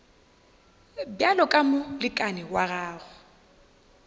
bjalo ka molekane wa gago